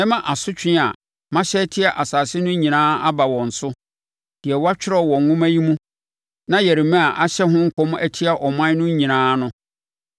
“Mɛma asotwe a mahyɛ atia asase no nyinaa aba wɔn so, deɛ wɔatwerɛ wɔ nwoma yi mu na Yeremia ahyɛ ho nkɔm atia aman no nyinaa no.